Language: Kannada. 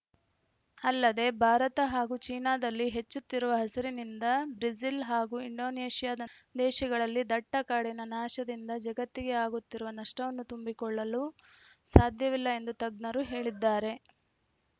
ಅಲ್ಲದೆ ಭಾರತ ಹಾಗೂ ಚೀನಾದಲ್ಲಿ ಹೆಚ್ಚುತ್ತಿರುವ ಹಸಿರಿನಿಂದ ಬ್ರಿಜಿಲ್‌ ಹಾಗೂ ಇಂಡೋನೇಷ್ಯಾದಂತಹ ದೇಶಗಳಲ್ಲಿ ದಟ್ಟಕಾಡಿನ ನಾಶದಿಂದ ಜಗತ್ತಿಗೆ ಆಗುತ್ತಿರುವ ನಷ್ಟವನ್ನು ತುಂಬಿಕೊಳ್ಳಲು ಸಾಧ್ಯವಿಲ್ಲ ಎಂದು ತಜ್ಞರು ಹೇಳಿದ್ದಾರೆ